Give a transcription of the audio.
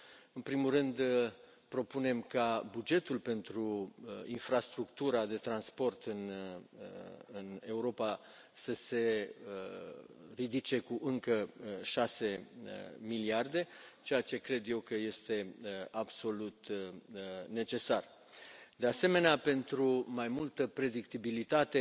În primul rând, propunem ca bugetul pentru infrastructura de transport în Europa să se ridice cu încă 6 miliarde, ceea ce cred eu că este absolut necesar. De asemenea, pentru mai multă predictibilitate